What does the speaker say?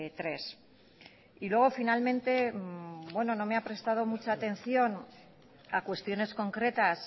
tres y luego finalmente no me ha prestado mucha atención a cuestiones concretas